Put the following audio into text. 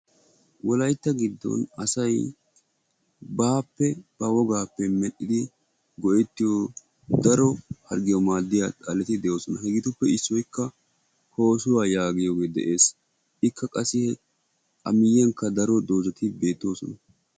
wolaytta gidon asay baappe ba wogaappe medhidi go'etiyo daro harggiyawu maadiya xaletti de'oosona. hegeetuppe issoykka koosuwa yaagiyooge de'ees. ikka qassi a miyiyankka daro dozati beetoosona.